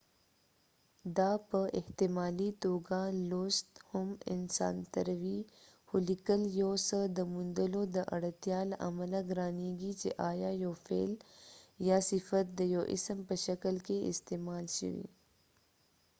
دا په احتمالي توګه لوست هم اسانتروي خو لیکل یو څه دا موندلو د اړتیا له امله ګرانیږي چې آیا یو فعل یا صفت د یو اسم په شکل کې استعمال شوی